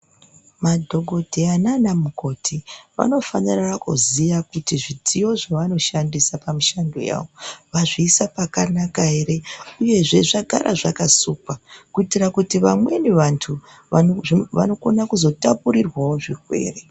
Madhokodheya nanamukoti vanofanira kuziya kuti zvidziyo zvavanoshanda pamishando yavo vazviisa pakanaka ere uyezve zvagara zvakasukwa kuitira kuti vamweni vantu vanokona kuzotapurirwawo zvirwere.